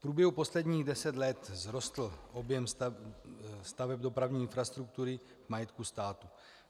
V průběhu posledních deseti let vzrostl objem staveb dopravní infrastruktury v majetku státu.